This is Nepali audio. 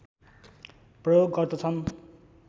प्रयोग गर्दछन्